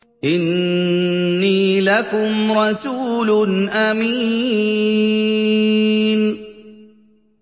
إِنِّي لَكُمْ رَسُولٌ أَمِينٌ